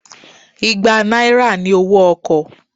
Igbá náírà ni owó ọkọ̀